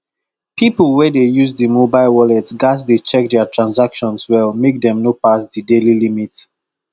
people wey dey use the mobile wallet gats dey check their transactions well make dem no pass the daily limit